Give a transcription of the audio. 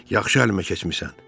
Yaxşı əlimə keçmisən.